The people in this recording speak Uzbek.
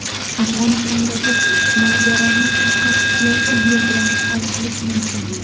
Afg‘onistondagi mojaroni faqat siyosiy yo‘l bilan hal qilish mumkin.